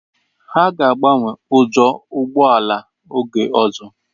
Ha ga agbanwe ujo ụgbọ ala oge ọzọ.